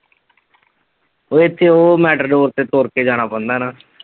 ਉਹ ਇਥੇ ਉਹ ਤੇ ਤੁਰ ਕੇ ਜਾਣਾ ਪੈਂਦਾ ਨਾ।